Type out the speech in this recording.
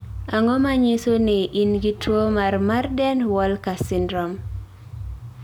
Ang'o ma nyiso ni in gi tuo mar Marden Walker syndrome?